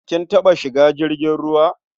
Kin taɓa shiga jirgin ruwa?